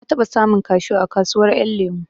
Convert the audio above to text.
Na taɓa samun kashu a kasuwar ƴan lemo